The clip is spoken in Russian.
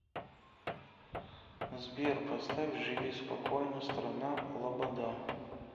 сбер поставь живи спокойно страна лобода